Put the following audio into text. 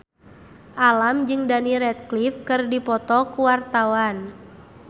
Alam jeung Daniel Radcliffe keur dipoto ku wartawan